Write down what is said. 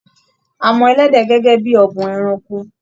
À mọ ẹlẹdẹ gẹgẹ bíi ọ̀bùn ẹranko.